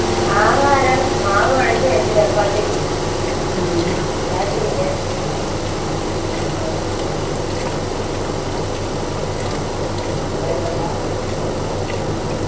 ആഹാരം മാവ് കുഴച്ചു വെച്ച് ചപ്പാത്തിക്ക് ഉണ്ടാക്കിയില്ല എന്തേലും ഉണ്ടാക്കണം